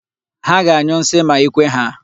Ha ga-anyụ nsi ma ikwe ha.